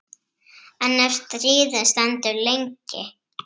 En ef stríðið stendur lengi?